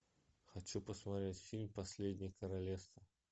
хочу посмотреть фильм последнее королевство